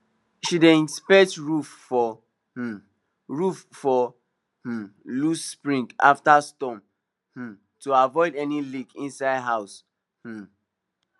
she dey inspect roof for um roof for um loose shingles after storm um to avoid any leak inside house um